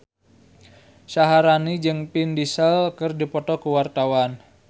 Syaharani jeung Vin Diesel keur dipoto ku wartawan